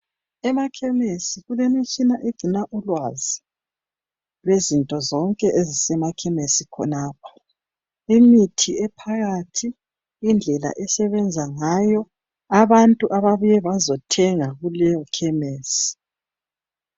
Emakhemisi kulemitshina egcina ulwazi, lwezinto zonke eziphakathi , emakhemisi khonapho. Imithi ephakathi, indlela esebenza ngayo. Abantu ababuye bazethenga kuleyokhemisi.